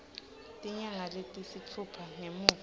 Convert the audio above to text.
tinyanga letisitfupha ngemuva